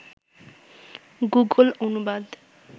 Google অনুবাদ